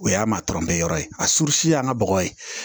O y'a maa tɔrɔ mɛ yɔrɔ ye a furusi y'an ka bɔgɔ ye